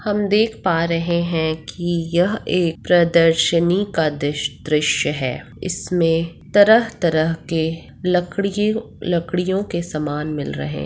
हम देख पा रहे है की यह एक प्रर्दशनी का दिश दृश्य है इसमें तरह-तरह के लकड़िये लकड़ियों के सामान मिल रहे --